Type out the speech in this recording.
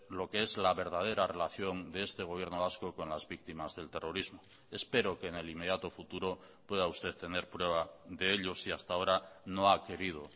lo que es la verdadera relación de este gobierno vasco con las víctimas del terrorismo espero que en el inmediato futuro pueda usted tener prueba de ello si hasta ahora no ha querido